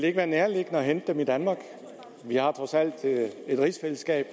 ikke være nærliggende at hente dem i danmark vi har trods alt et rigsfællesskab